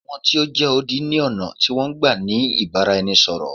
Àwọn tí o jẹ́ odi ni ọ̀nà tí wọn n gbá ni ìbáraẹnisọ̀rọ̀.